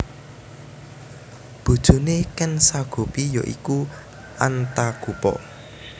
Bojone Ken Sagopi ya iku Antagopa